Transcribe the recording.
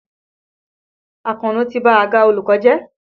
Àkànó ti ba àga olùkọ́ jẹ́.